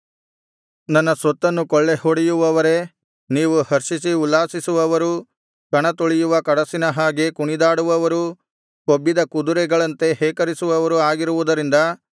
ನನ್ನ ಸ್ವತ್ತನ್ನು ಕೊಳ್ಳೆಹೊಡೆಯುವವರೇ ನೀವು ಹರ್ಷಿಸಿ ಉಲ್ಲಾಸಿಸುವವರೂ ಕಣತುಳಿಯುವ ಕಡಸಿನ ಹಾಗೆ ಕುಣಿದಾಡುವವರೂ ಕೊಬ್ಬಿದ ಕುದುರೆಗಳಂತೆ ಹೇಕರಿಸುವವರೂ ಆಗಿರುವುದರಿಂದ